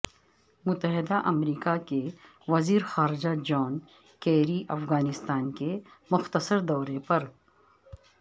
متحدہ امریکہ کے وزیر خارجہ جان کیری افغانستان کے مختصر دورے پر